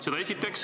Seda esiteks.